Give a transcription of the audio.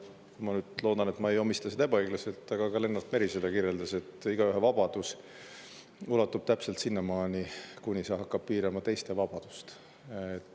Ma nüüd loodan, et ma ei omista seda ebaõiglaselt, aga Lennart Meri, et igaühe vabadus ulatub täpselt sinnamaani, kuni see hakkab piirama teiste vabadust.